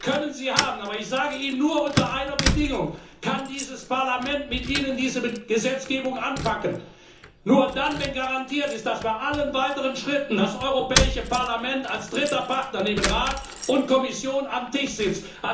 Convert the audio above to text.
Den können Sie haben, aber ich sage Ihnen, nur unter einer Bedingung kann dieses Parlament diese Gesetzgebung mit Ihnen anpacken, und zwar nur dann, wenn garantiert ist, dass bei allen weiteren Schritten das Europäische Parlament als dritter Partner neben Rat und Kommission am Tisch sitzt.